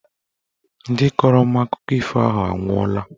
Ndị kọrọ m akụkọ ifo ahụ anwụọla